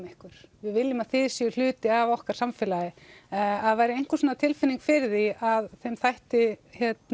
ykkur við viljum að þið séuð hluti af okkar samfélagi ef það væri einhver svona tilfinning fyrir því að þeim þætti